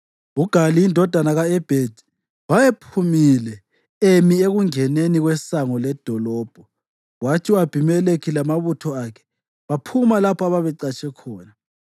UGali indodana ka-Ebhedi wayephumile emi ekungeneni kwesango ledolobho kwathi u-Abhimelekhi lamabutho akhe baphuma lapho ababecatshe khona.